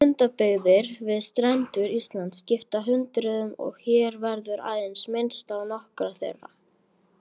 Lundabyggðir við strendur Íslands skipta hundruðum og hér verður aðeins minnst á nokkrar þeirra.